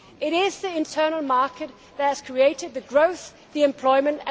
It is the internal market that has created growth and employment.